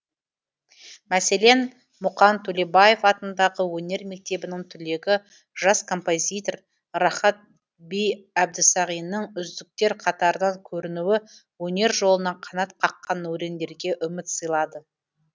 мәселен мұқан төлебаев атындағы өнер мектебінің түлегі жас композитор рахат би әбдісағинның үздіктер қатарынан көрінуі өнер жолына қанат қаққан өрендерге үміт сыйлады